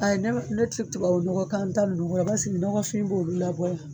ne bɛ ne ti tubabu nɔgɔ k'an ta ninnu kɔ basigi dɔ ka o bɛ labɔ a la